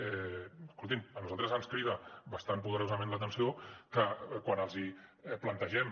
escoltin a nosaltres ens crida bastant poderosament l’atenció que quan els plantegem